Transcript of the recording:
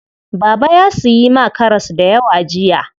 Baba ya siyi ma karas dayawa jiya.